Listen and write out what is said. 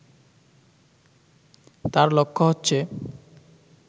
তাঁর লক্ষ্য হচ্ছে